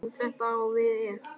Þetta á við ef